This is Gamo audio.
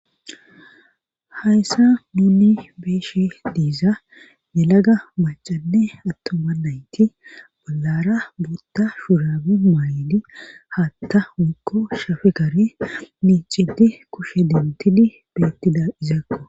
Hayssa nuni beeshe diiza nelaga macanne attoma nayti balara buotta shuraabe maaydi haatta mukko shafe kare miicidi kushe dentidi beettida izakko